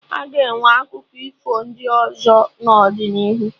A ga-enwe akụkọ ifo ndị ọzọ n'ọdịnihu